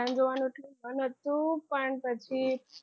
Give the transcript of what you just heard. પઠાણ જોવા જવાનું હતું પણ પછી